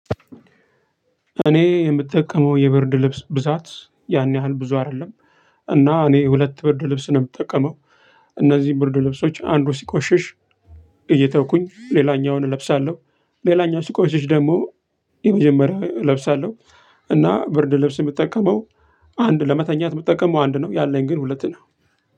እኔ የምጠቀመው የብርድ ልብስ ብዛት ያን ያህል ብዙ አይደለም። እና እኔ ሁለት ብርድ ልብስ ነው የምጠቀመው። እነዚህ ብርድ ልብሶች አንዱ ሲቆሽሽ እየተውኩኝ ሌላኛውን እለብሳለሁ። ሌላኛው ሲቆሽሽ ደግሞ የመጀመሪያውን እለብሳለሁ። እና ብርድ ልብስ የምጠቀመው አንድ ለመተኛት የምጠቀመው አንድ ነው ያለኝ ግን ሁለት ነው።